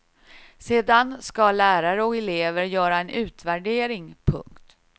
Sedan ska lärare och elever göra en utvärdering. punkt